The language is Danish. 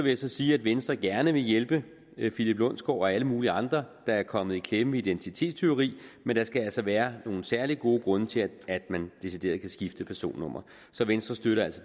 jeg sige at venstre gerne vil hjælpe philip lundsgaard og alle mulige andre der er kommet i klemme identitetstyveri men der skal altså være nogle særlig gode grunde til at man decideret kan skifte personnummer så venstre støtter